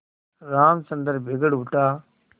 रामचंद्र बिगड़ उठा